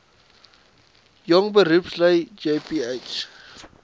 jong beroepslui jbp